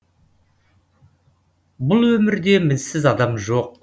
бұл өмірде мінсіз адам жоқ